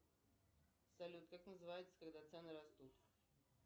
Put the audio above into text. салют как называется когда цены растут